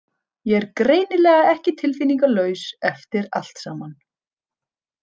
Ég er greinilega ekki tilfinningalaus eftir allt saman.